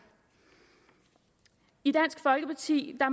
i dansk folkeparti